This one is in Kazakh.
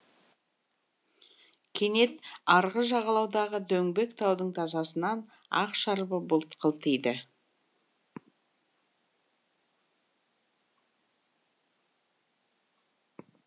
кенет арғы жағалаудағы дөңбек таудың тасасынан ақ шарбы бұлт қылтиды